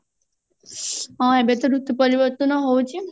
ହଁ ଏବେ ତ ଋତୁ ପରିବର୍ତନ ହଉଛି